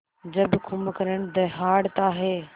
जब कुंभकर्ण दहाड़ता है